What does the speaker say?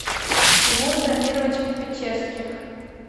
тимур дамирович печерских